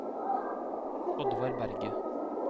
Oddvar Berget